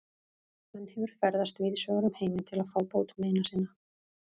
Hann hefur ferðast víðsvegar um heiminn til að fá bót meina sinna.